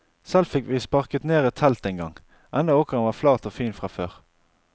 Selv fikk vi sparket ned et telt engang, enda åkeren var flat og fin fra før.